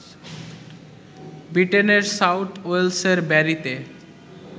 ব্রিটেনের সাউথ ওয়েলসের ব্যারিতে